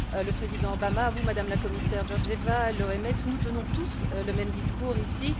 Le président Obama, vous, Madame la Commissaire Georgieva, l'OMS, nous tenons tous le même discours ici.